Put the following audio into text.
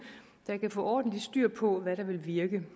der kan få ordentlig styr på hvad der vil virke